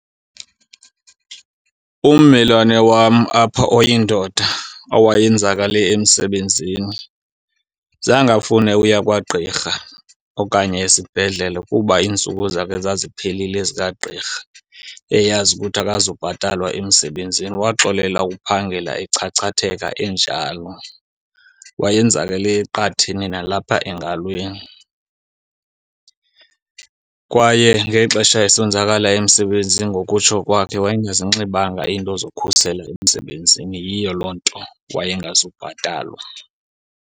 Ummelwane wam apha oyindoda owayenzakale emsebenzini zange afune uya kwagqirha okanye esibhedlele kuba iintsuku zakhe zaziphelile zikagqirha, eyazi ukuthi akazubhatalwa emsebenzini. Waxolela ukuphangela echachatheka enjalo. Wayenzakele eqatheni nalapha engalweni, kwaye ngexesha esonzakala emsebenzini ngokutsho kwakhe wayengazinxibanga iinto zokhusela emsebenzini. Yiyo loo nto wayengazubhatalwa.